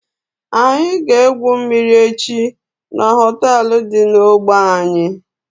Anyị ga egwu mmiri echi n'hoteelu dị n'ogbe anyị